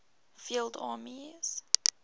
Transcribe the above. field armies